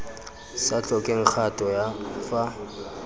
sa tlhokeng kgato ya fa